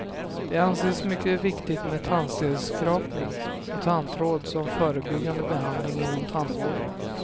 Det anses mycket viktigt med tandstensskrapning och tandtråd som förebyggande behandling inom tandvården.